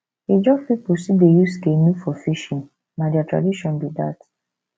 ijaw pipo still dey use canoe for fishing na their tradition be dat